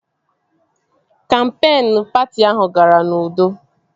Kampeen patị ahụ gara n'udo